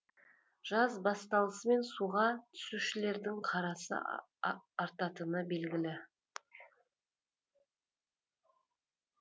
жаз басталысымен суға түсушілердің қарасы артатыны белгілі